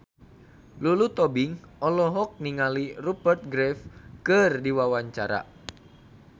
Lulu Tobing olohok ningali Rupert Graves keur diwawancara